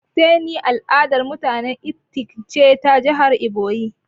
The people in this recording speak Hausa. "Fattening" al'adar mutanen ifik ce ta jihar iboyi.